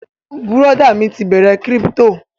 Bùrọ̀dá mi ti bẹ̀rẹ kírípítò